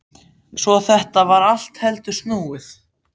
Svo þetta var allt heldur snúið.